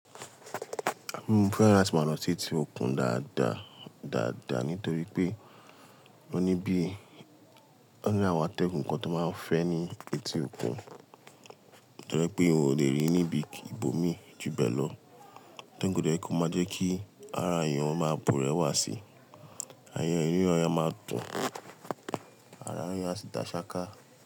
Mó fẹ́ràn láti máa lọ sí etí òkun dáadáa dáadáa nítorí pé ó ní bíi, ó ní àwọn atẹ́gùn kan tó máa ń fẹ́ ní etí òkun torí pé òun ò lè rí níbi ìbòmi ju bẹ́ẹ̀ lọ. Atẹ́gùn tó jẹ pé kò máa jẹ́ kí ara èèyàn máa búrẹ́wà síi. Ẹyọ inú ọya máa tún ara ẹ̀yàn sì dá ṣááká.